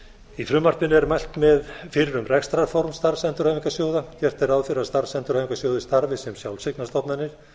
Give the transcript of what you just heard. í frumvarpinu er mælt fyrir um rekstrarform starfsendurhæfingarsjóða gert er ráð fyrir að starfsendurhæfingarsjóðir starfi sem sjálfseignarstofnanir